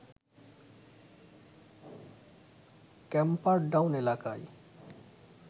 Camperdown এলাকায়